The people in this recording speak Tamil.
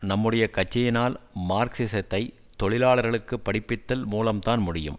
நம்முடைய கட்சியினால் மார்க்சிசத்தை தொழிலாளர்களுக்கு படிப்பித்தல் மூலம் தான் முடியும்